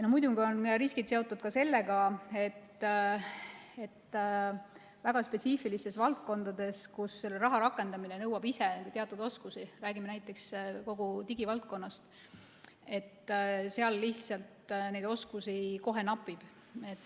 Muidugi on riskid seotud ka sellega, et väga spetsiifilistes valdkondades, kus selle raha rakendamine nõuab ise teatud oskusi, kui me räägime näiteks kogu digivaldkonnast, oskusi kohe napib.